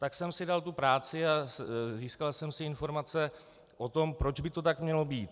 Tak jsem si dal tu práci a získal jsem si informace o tom, proč by to tak mělo být.